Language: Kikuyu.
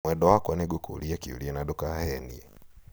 mwendwa wakwa nĩngũkũũria kĩũria na ndũkahenie